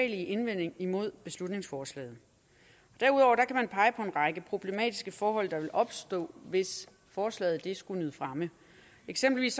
indvending imod beslutningsforslaget derudover kan man pege på en række problematiske forhold der vil opstå hvis forslaget skulle nyde fremme eksempelvis